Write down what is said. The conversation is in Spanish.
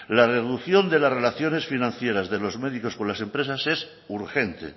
la reducción de las relaciones financieras de los médicos con las empresas es urgente